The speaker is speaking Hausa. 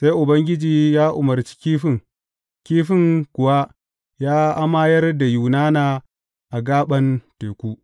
Sai Ubangiji ya umarci kifin, kifin kuwa ya amayar da Yunana a gaɓan teku.